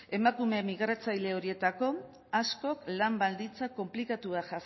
emakumeen migratzaile horietako askok lan baldintza konplikatuak